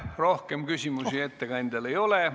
Rohkem küsimusi ettekandjale ei ole.